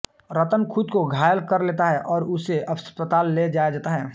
रतन खुद को घायल कर लेता है और उसे अस्पताल ले जाया जाता है